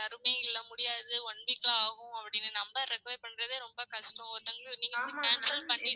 யாருமே இல்ல முடியாது one week ஆகும் அப்டின்னு number recover பண்றதே ரொம்ப கஷ்டம் ஒருத்தவங்க நீ வந்து cancel பண்ணிடு